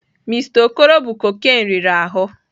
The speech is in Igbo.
Mister okoro bụ cocaine riri ahụ.